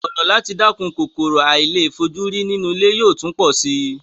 Ọ̀nà láti dẹ́kun kòkòrò àìlèfojúrí nínú ilé yóò tún pọ̀ si